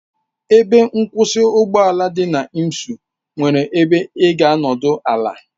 Ebe nkwụsị ụgbọ ala dị na Imsu nwere ebe ị ga-anọdụ ala.